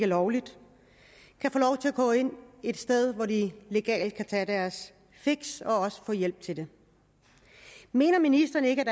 lovligt kan få lov til at gå ind et sted hvor de legalt kan tage deres fix og også få hjælp til det mener ministeren ikke